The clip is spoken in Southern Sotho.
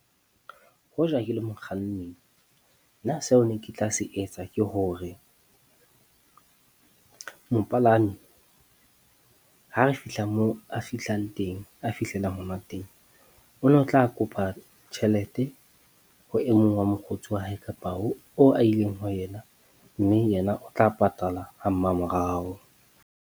Hoja ke le mokganni, nna seo ne ke tla se etsa ke hore mopalami ha re fihla moo a fihlang teng, a fihlelang hona teng, o na tla kopa tjhelete ho e mong wa mokgotsi wa hae kapa oo a ileng ho yena. Mme yena o tla patalwa ha mmamorao.